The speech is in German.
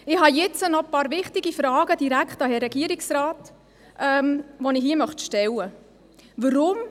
Ich habe nun noch ein paar wichtige Fragen direkt an den Herrn Regierungsrat, die ich hier stellen möchte: